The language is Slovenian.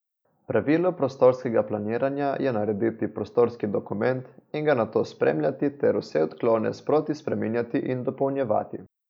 Pravilo prostorskega planiranja je narediti prostorski dokument in ga nato spremljati ter vse odklone sproti spreminjati in dopolnjevati.